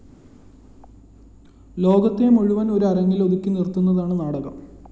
ലോകത്തെ മുഴുവന്‍ ഒരു അരങ്ങിലേക്കൊതുക്കി നിര്‍ത്തുന്നതാണ് നാടകം